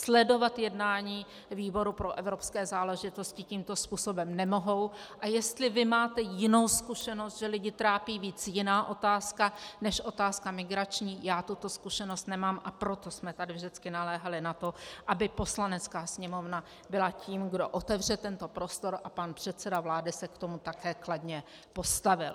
Sledovat jednání výboru pro evropské záležitosti tímto způsobem nemohou, a jestli vy máte jinou zkušenost, že lidi trápí víc jiná otázka než otázka migrační, já tuto zkušenost nemám, a proto jsme tady vždycky naléhali na to, aby Poslanecká sněmovna byla tím, kdo otevře tento prostor, a pan předseda vlády se k tomu také kladně postavil.